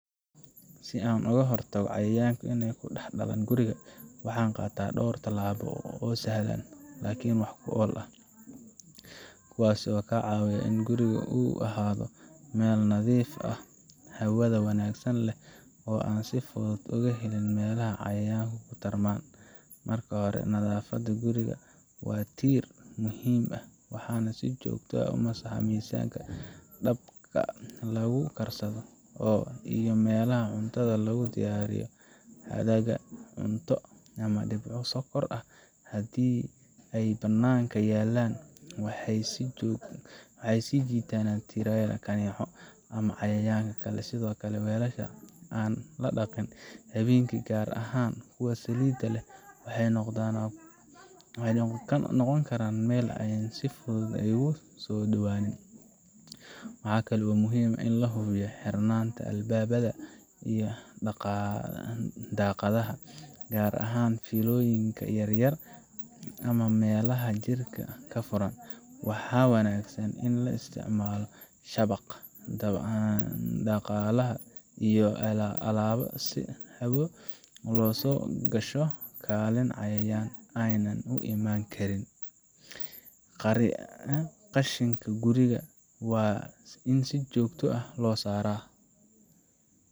Si aan uga hortago cayayaanka inay ku dhex dhalan guriga, waxaan qaataa dhowr tallaabo oo sahlan laakiin wax ku ool ah, kuwaas oo ka caawiya in guriga uu ahaado meel nadiif ah, hawada wanaagsan leh, oo aan si fudud uga helin meelaha cayayaanku ku tarmaan. Marka hore, nadaafadda guriga waa tiir muhiim ah. Waxaan si joogto ah u masaxaa miisaska, dabka lagu karsado, iyo meelaha cuntada lagu diyaariyo. Hadhaaga cunto ama dhibco sonkor ah haddii ay bannaanka yaallaan, waxay soo jiitaan tiriyaal, kaneeco, ama cayayaanka kale. Sidoo kale, weelasha aan la dhaqin habeenkii, gaar ahaan kuwa saliid leh, waxay noqon karaan meel ay si fudud ugu soo dhowaadaan. Waxaa kale oo muhiim ah in la hubiyo xirnaanta albaabada iyo daaqadaha, gaar ahaan fiilooyinka yar yar ama meelaha jirka ka furan. Waxaa wanaagsan in la isticmaalo shabaq daaqadaha iyo albaabada si hawo u soo gasho laakiin cayayaan aanay u imaan karin. Qashinka guriga waa in si joogto ah loo saaraa.